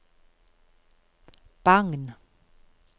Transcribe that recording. Bagn